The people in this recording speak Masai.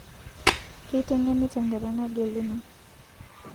Keiteng'eni tenkata nageluno